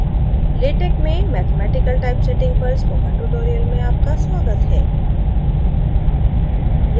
latex में mathematical typesetting पर spoken tutorial में आपका स्वागत है